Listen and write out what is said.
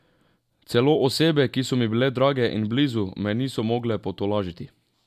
Celo osebe, ki so mi bile drage in blizu, me niso mogle potolažiti.